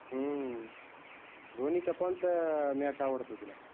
हम्म धोनीच कोनच match आवडते तुला?